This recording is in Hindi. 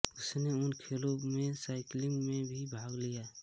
उसने उन खेलों में साइकिलिंग में भी भाग लिया